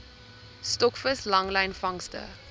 stokvis langlyn vangste